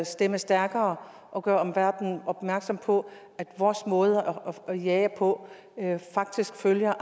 stemme stærkere og gøre omverdenen opmærksom på at vores måde at jage på faktisk følger